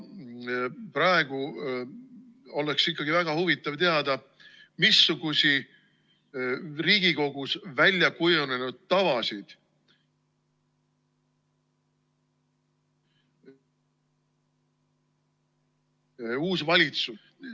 Ja praegu oleks väga huvitav teada, missuguseid Riigikogus väljakujunenud tavasid ...... uus valitsus.